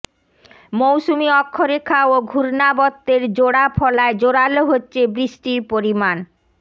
মৌসুমী অক্ষরেখা ও ঘূর্ণাবর্তের জোড়া ফলায় জোরাল হচ্ছে বৃষ্টির পরিমাণ